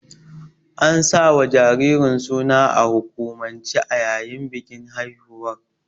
An sawa jaririn suna a hukumance a yayin bikin haihuwar.